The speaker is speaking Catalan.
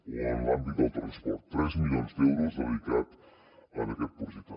o en l’àmbit del transport tres milions d’euros dedicats a aquest projecte